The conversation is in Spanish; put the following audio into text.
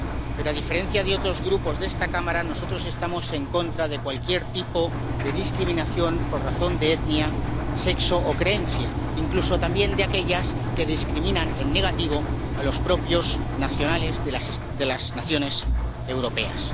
Pero a diferencia de otros grupos de esta Cámara, nosotros estamos en contra de cualquier tipo de discriminación por razón de etnia, sexo o creencia, incluso también de aquellas que discriminan en negativo a los propios nacionales de las naciones europeas.